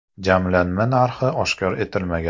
Jamlanma narxi oshkor etilmagan.